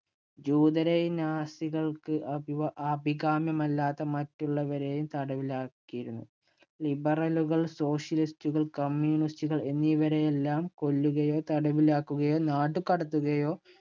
ജൂതരെയും, നാസികൾക്ക് അഭികാ~അഭികാമ്യമല്ലാത്ത മറ്റുള്ളവരെയും തടവിലാക്കിയിരുന്നു. Liberal ഉകൾ, socialist ഉകൾ, communist ഉകൾ എന്നിവരെയെല്ലാം കൊല്ലുകയോ, തടവിലാക്കുകയോ നാടുകടത്തുകയോ